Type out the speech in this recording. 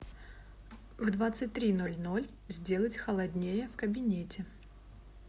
в двадцать три ноль ноль сделать холоднее в кабинете